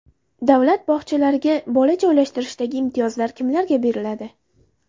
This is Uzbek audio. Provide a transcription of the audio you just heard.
Davlat bog‘chalariga bola joylashtirishdagi imtiyozlar kimlarga beriladi?.